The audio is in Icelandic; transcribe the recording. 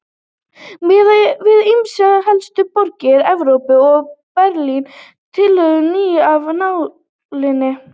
Miðað við ýmsar helstu borgir Evrópu var Berlín tiltölulega ný af nálinni.